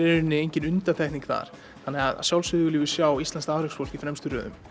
í rauninni engin undantekning þar þannig að sjálfsögðu viljum við sjá íslenskt afreksfólk í fremstu röðum